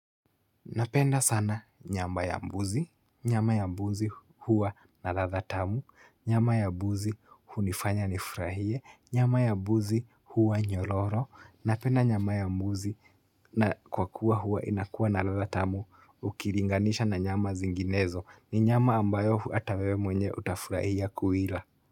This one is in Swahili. Napenda sana nyama ya mbuzi. Nyama ya mbuzi huwa na ladha tamu. Nyama ya mbuzi hunifanya nifurahie. Nyama ya mbuzi huwa nyororo. Napenda nyama ya mbuzi kwa kuwa huwa inakuwa na ladha tamu ukilinganisha na nyama zinginezo. Ni nyama ambayo hata wewe utafurahia kuila.